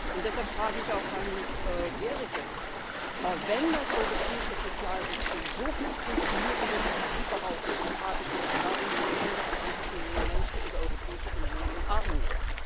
Und deshalb frage ich auch Herrn Gericke Wenn das europäische Sozialsystem so gut funktionieren würde, wie Sie behaupten, dann frage ich mich Warum leben 120 Millionen Menschen in der Europäischen Union in Armut?